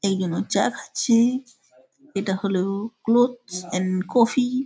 এই খানে চা খাছে। ইটা হলো ক্লোথস এন্ড কফি ।